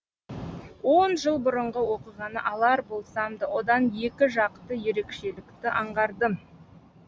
он жыл бұрынғы оқиғаны алар болсам да одан екі жақты ерекшелікті аңғардым